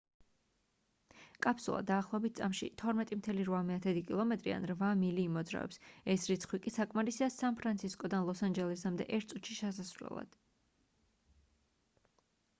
კაფსულა დაახლოებით წამში 12,8 კილომეტრი ან 8 მილი იმოძრავებს ეს რიცხვი კი საკმარისია სან ფრანცისკოდან ლოს-ანჯელესამდე ერთ წუთში ჩასასვლელად